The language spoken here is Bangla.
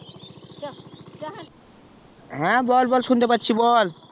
হ্যা বল বল শুনতে পাচ্ছি বল